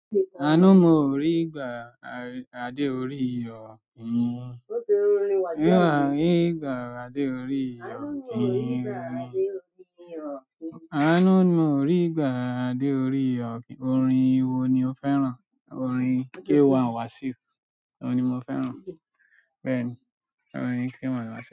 Àánú mò rí gbà adé orí ọ̀kín. Anu mo rí gbà adé orí ọ̀kín. Àánú mò rí ìgbà adé orí ọ̀kín. Orin wo ni o fẹ́ràn? Orin K1 Wasiu ohùn ni mo fẹ́ràn. Bẹ́ẹ̀ ni, orin K1 Wasiu.